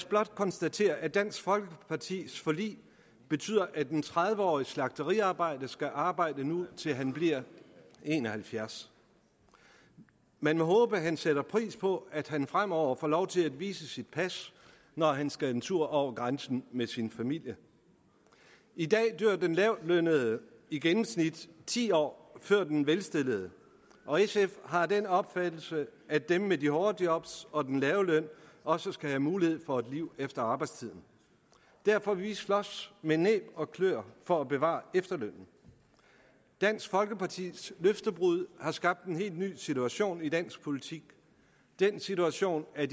blot konstatere at dansk folkepartis forlig betyder at en tredive årig slagteriarbejder nu skal arbejde til han bliver en og halvfjerds man må håbe han sætter pris på at han fremover får lov til at vise sit pas når han skal en tur over grænsen med sin familie i dag dør den lavtlønnede i gennemsnit ti år før den velstillede og sf har den opfattelse at dem med de hårde job og den lave løn også skal have mulighed for et liv efter arbejdslivet derfor vil vi slås med næb og kløer for at bevare efterlønnen dansk folkepartis løftebrud har skabt en helt ny situation i dansk politik den situation at